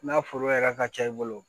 N'a foro yɛrɛ ka ca i bolo